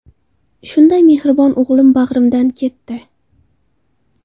Shunday mehribon o‘g‘lim bag‘rimdan ketdi.